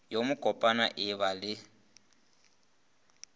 yo mokopana e ba le